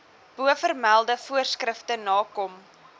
bovermelde voorskrifte nakom